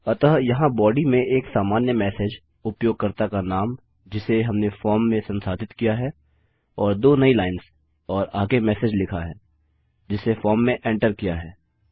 अतः यहाँ बॉडी में एक सामान्य मेसेज उपयोगकर्ता का नाम जिसे हमने फॉर्म में संसाधित किया है और दो नई लाइन्स और आगे मेसेज लिखा है जिसे फॉर्म में एन्टर किया है